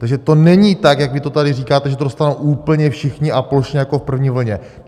Takže to není tak, jak vy to tady říkáte, že to dostanou úplně všichni a plošně jako v první vlně.